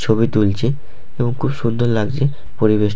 ছবি তুলছে এবং খুব সুন্দর লাগছে পরিবেশ।